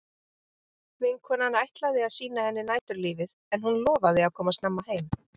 Vinkonan ætlaði að sýna henni næturlífið en hún lofaði að koma snemma heim.